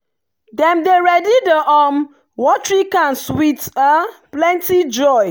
dem dey ready the um watering cans with plenty joy.